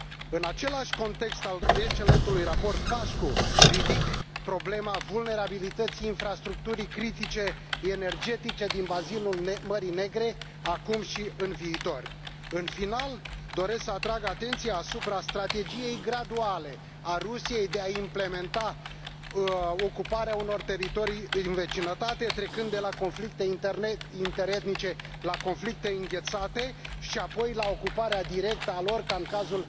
În același context al excelentului raport Pașcu ridic problema vulnerabilității infrastructurii critice energetice din bazinul Mării Negre, acum și în viitor. În final, doresc să atrag atenția asupra strategiei graduale a Rusiei de a implementa ocuparea unor teritorii din vecinătate trecând de la conflicte interne interetnice la conflicte înghețate și apoi la ocuparea directă a lor ca în cazul